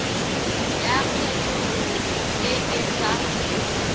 ya kgethololo e e sa